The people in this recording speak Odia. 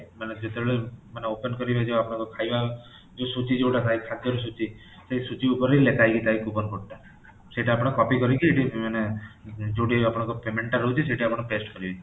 ମାନେ ଯେତବେଳେ ମାନେ open କରିବେ ଯୋଉ ଆପଣଙ୍କର ଖାଇବା ଯୋଉଁ ସୂଚୀ ଯୋଉଟା ଥାଏ ଖାଦ୍ୟା ସୂଚୀ ସେଇ ସୂଚୀ ଉପରେ ଲେଖା ହେଇକି ଥାଏ coupon code ଟା ସେଇଟା ଆପଣ copy କରିକି ମାନେ ଯୋଉଠି ଆପଣଙ୍କର payment ଟା ରହୁଛି ସେଠି ଆପଣ paste କରିବେ